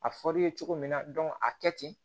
A fɔr'i ye cogo min na a kɛ ten